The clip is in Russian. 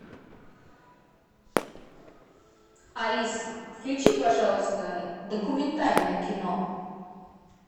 алиса включи пожалуйста документальное кино